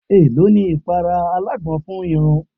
È ló ni ìpara alágbọn fún irun?